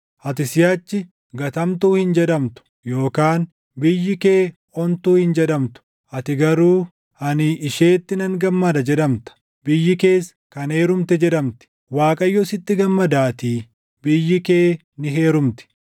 Ati siʼachi, Gatamtuu hin jedhamtu, yookaan biyyi kee Ontuu hin jedhamtu. Ati garuu, “Ani isheetti nan gammada” jedhamta; biyyi kees “kan heerumte” jedhamti; Waaqayyo sitti gammadaatii, biyyi kee ni heerumti.